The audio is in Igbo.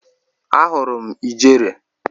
Ahụrụ m ijere.